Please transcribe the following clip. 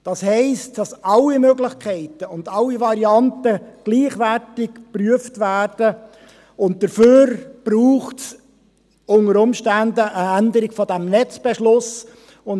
Das heisst, dass alle Möglichkeiten und alle Varianten gleichwertig geprüft werden, und dafür braucht es unter Umständen eine Änderung des Netzbeschlusses.